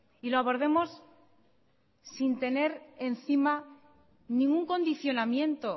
y lo abordemos sin tener encima ningún condicionamiento